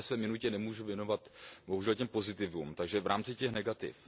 Já se ve své minutě nemůžu věnovat bohužel těm pozitivům, takže v rámci těch negativ.